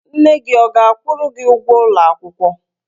Nne gị ọ ga-akwụrụ gi ụgwọ ụlọ akwụkwọ?